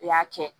U y'a kɛ